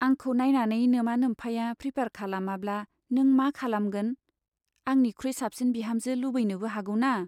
आंखौ नाइनानै नोमा नोम्फाया प्रिफार खालामाब्ला नों मा खालामगोन ? आंनिखुइ साबसिन बिहामजो लुबैनोबो हागौना !